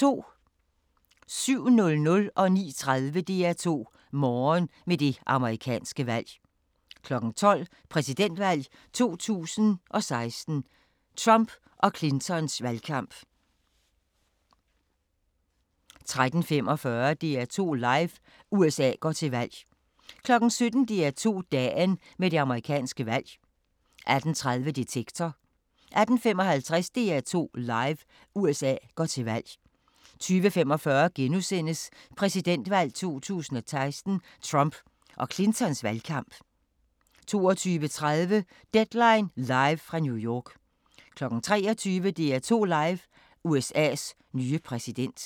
07:00: DR2 Morgen med det amerikanske valg 09:30: DR2 Morgen med det amerikanske valg 12:00: Præsidentvalg 2016: Trump og Clintons valgkamp 13:45: DR2 Live: USA går til valg 17:00: DR2 Dagen med det amerikanske valg 18:30: Detektor 18:55: DR2 Live: USA går til valg 20:45: Præsidentvalg 2016: Trump og Clintons valgkamp * 22:30: Deadline live fra New York 23:00: DR2 Live: USA's nye præsident